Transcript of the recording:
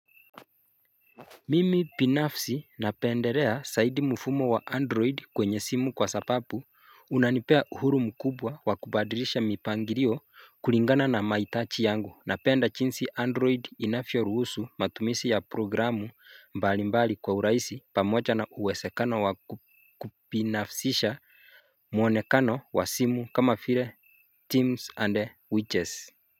Mimi binafsi napendelea zaidi mfumo wa android kwenye simu kwa sababu, Unanipea uhuru mkubwa wakubadrisha mipangilio kulingana na mahitaji yangu na penda jinsi android inavyo ruhusu matumizi ya programu mbali mbali kwa urahisi pamoja na uwezekana wakubinafsisha muonekano wa simu kama vile teams and witches.